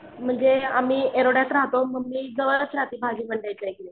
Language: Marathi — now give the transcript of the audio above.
म्हणजे आम्ही येरवड्यात राहतो मम्मी जवळच राहते भाजी मंडईच्या इथे.